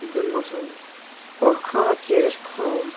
Illugi Gunnarsson: Og hvað gerist þá?